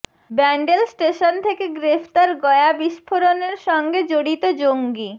Bandel station থেকে গ্রেফতার গয়া বিস্ফোরণের সঙ্গে জড়িত জঙ্গী